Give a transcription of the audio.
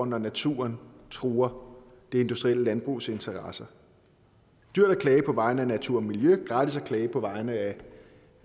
når naturen truer det industrielle landbrugs interesser dyrt at klage på vegne af natur og miljø gratis at klage på vegne